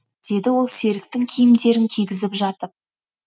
деді ол серіктің киімдерін кигізіп жатып